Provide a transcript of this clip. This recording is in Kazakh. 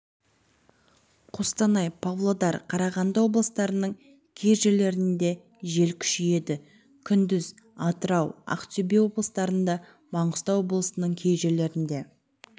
қостанай павлодар қарағанды облыстарының кей жерлерінде жел күшейеді күндіз атырау ақтөбе облыстарында маңғыстау облысының кей жерлерінде